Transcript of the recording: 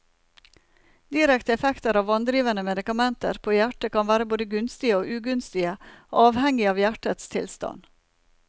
Direkte effekter av vanndrivende medikamenter på hjertet kan være både gunstige og ugunstige, avhengig av hjertets tilstand.